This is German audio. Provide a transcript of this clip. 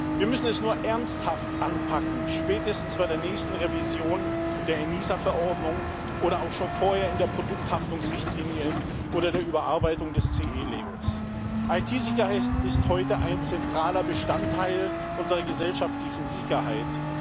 Wir müssen es nur ernsthaft anpacken spätestens bei der nächsten Revision der ENISA-Verordnung oder auch schon vorher in der Produkthaftungsrichtlinie oder bei der Überarbeitung des CE-Labels. IT-Sicherheit ist heute ein zentraler Bestandteil unserer gesellschaftlichen Sicherheit.